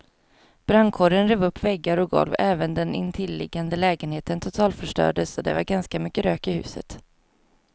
Brandkåren rev upp väggar och golv, även den intilliggande lägenheten totalförstördes och det var ganska mycket rök i huset.